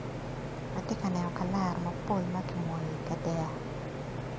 Atye ka neno kalara mapol ma ki moyo ikadek.